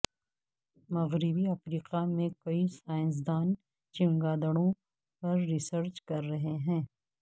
مغربی افریقہ میں کئی سائنسدان چمگادڑوں پر ریسرچ کر رہے ہیں